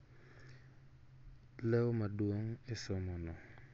Leo maduong' e somo no